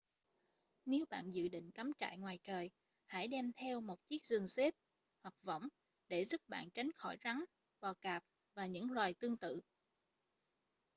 nếu bạn dự định cắm trại ngoài trời hãy đem theo một chiếc giường xếp hoặc võng để giúp bạn tránh khỏi rắn bò cạp và những loài tương tự